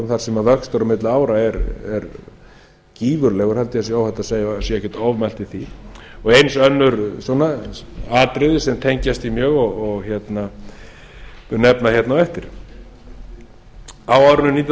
þar sem vöxtur á milli ára er gífurlegur held ég að sé óhætt að segja að sé ekkert ofmælt í því og eins önnur svona atriði sem tengjast því mjög og ég skal nefna á eftir á árinu nítján hundruð níutíu